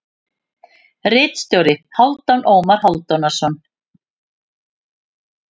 Ritstjóri: Hálfdan Ómar Hálfdanarson.